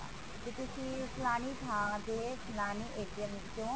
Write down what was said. ਕਿ ਤੁਸੀਂ ਫਲਾਣੀ ਥਾਂ ਤੇ ਫਲਾਣੀ ਵਿੱਚੋ